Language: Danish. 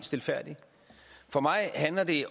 stilfærdigt for mig handler det